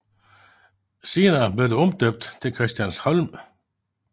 Senere blev den omdøbt til Christiansholm